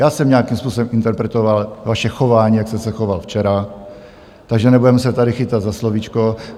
Já jsem nějakým způsobem interpretoval vaše chování, jak jste se choval včera, takže nebudeme se tady chytat za slovíčko.